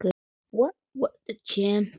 Systir mín